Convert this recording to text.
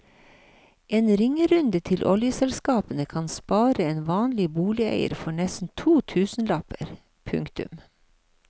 En ringerunde til oljeselskapene kan spare en vanlig boligeier for nesten to tusenlapper. punktum